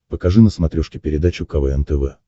покажи на смотрешке передачу квн тв